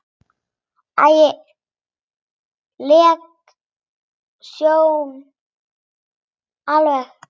Ægi leg sjón alveg.